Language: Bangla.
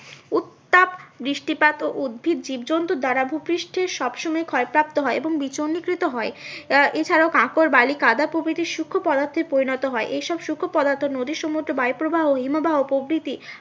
উত্তাপ বৃষ্টিপাত ও উদ্ভিত জীবজন্তু দ্বারা ভূপৃষ্ঠের সব সময় ক্ষয়প্রাপ্ত হয় এবং হয়। এছাড়াও কাঁকর বালি কাঁদা প্রভৃতি সুক্ষ পদার্থে পরিণত হয় এই সব সুক্ষ পদার্থ নদী সমুদ্র বায়ু প্রবাহ হিমবাহ প্রভৃতি